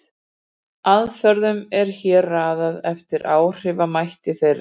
Aðferðunum er hér raðað eftir áhrifamætti þeirra.